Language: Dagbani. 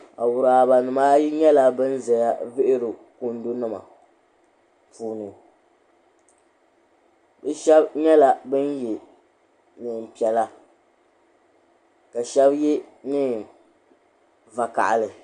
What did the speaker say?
Awurabanima ayi nyɛla ban ʒeya vihiri kundunima puuni bɛ shɛba nyɛla ban ye neem'piɛla ka shɛba ye neen'vakahali.